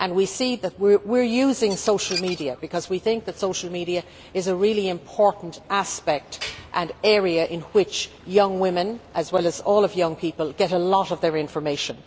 We are using social media because we think that social media is a really important aspect, and an area in which young women, as well as all young people, get a lot of their information.